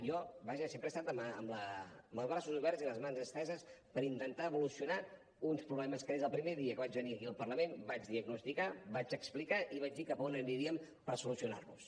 jo vaja sempre he estat amb els braços oberts i les mans esteses per intentar evolucionar uns problemes que des del primer dia que vaig venir aquí al parlament vaig diagnosticar vaig explicar i vaig dir cap on aniríem per solucionar los